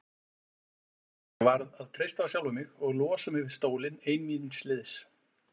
Ég varð að treysta á sjálfa mig og losa mig við stólinn ein míns liðs.